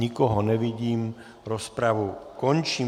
Nikoho nevidím, rozpravu končím.